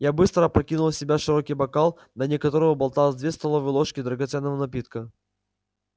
я быстро опрокинул в себя широкий бокал на дне которого болталось две столовые ложки драгоценного напитка